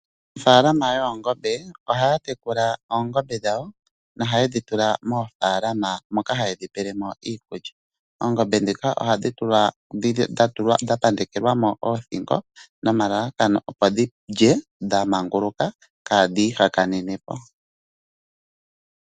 Aanafaalama yOongombe ohaya tekula oongombe dhawo no ha yedhi tula moofalama moka hayedhi tulilemo iikulya .oongombe ndhika ohadhi tulwa dha pandekwa moothingo nelalakano opo dhilye kadhi hakanepo